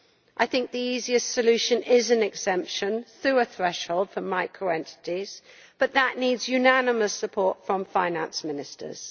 I think the easiest solution is an exemption, through a threshold, for micro entities, but that needs unanimous support from finance ministers.